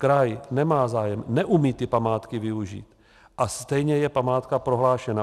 Kraj nemá zájem, neumí ty památky využít, a stejně je památka prohlášena.